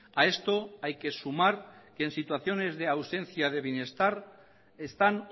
a esto hay que sumar que en situaciones de ausencia de bienestar están